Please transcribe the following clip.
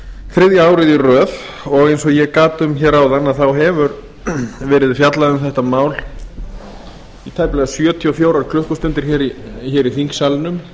þriðja árið í röð og eins og ég gat um áðan hefur verið fjallað um þetta mál í tæplega sjötíu og fjórar klukkustundir í þingsalnum það